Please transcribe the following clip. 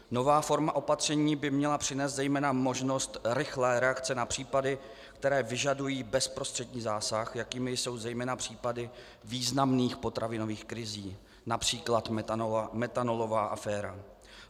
Nová forma opatření by měla přinést zejména možnost rychlé reakce na případy, které vyžadují bezprostřední zásah, jakými jsou zejména případy významných potravinových krizí, například metanolová aféra.